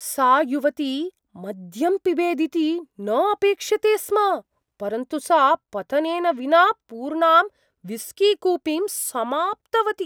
सा युवती मद्यं पिबेदिति न अपेक्ष्यते स्म, परन्तु सा पतनेन विना पूर्णां विस्कीकूपीं समाप्तवती।